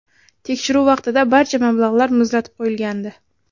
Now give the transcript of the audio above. Tekshiruv vaqtida barcha mablag‘lar muzlatib qo‘yilgandi.